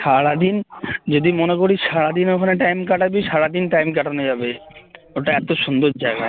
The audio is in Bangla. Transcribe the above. সারাদিন যদি মনে করিস সারাদিন ওখানে time কাটাবি সারাদিন time কাটানো যাবে ওটা এত সুন্দর জায়গা